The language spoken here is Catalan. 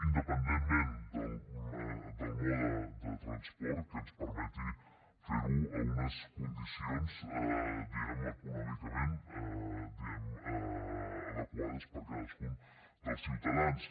independentment del mode de transport que ens permeti fer ho en unes condicions diguem ne econòmicament adequades per a cadascun dels ciutadans